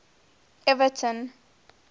everton